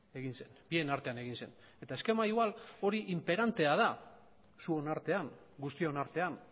egin zen bien artean egin zen eta eskema igual hori inperantea da zuen artean guztion artean